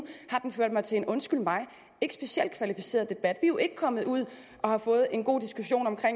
har den ført til en undskyld mig ikke specielt kvalificeret debat er jo ikke kommet ud og har fået en god diskussion om